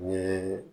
Ye